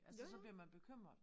Altså så bliver man bekymret